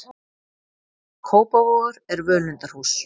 Kópavogur er völundarhús.